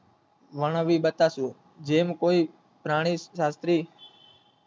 વર્ણવી બતાશે જેમ કોઈ પ્રાણી માત્ર